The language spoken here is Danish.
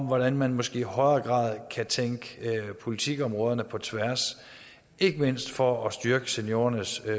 hvordan man måske i højere grad kan tænke politikområderne på tværs ikke mindst for at styrke seniorernes